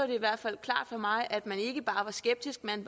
i hvert fald klart for mig at man ikke bare var skeptisk men